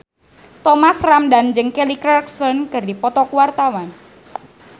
Thomas Ramdhan jeung Kelly Clarkson keur dipoto ku wartawan